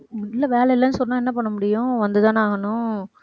இல்லை வேலை இல்லைன்னு சொன்னா என்ன பண்ண முடியும் வந்துதானே ஆகணும்